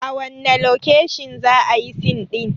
A wanne lokeshin za ayi sin ɗin?